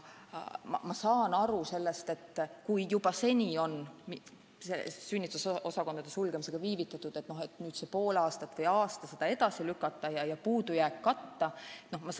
Samas ma saan aru sellest, et kui juba seni on sünnitusosakondade sulgemisega viivitatud, siis nüüd ollakse valmis seda pool aastat või aasta edasi lükkama ja puudujääki katma.